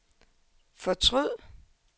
fortryd